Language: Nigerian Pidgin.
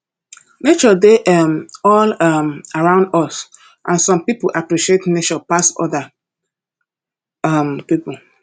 nature dey um all um around us and some pipo appreciate nature pass oda um pipo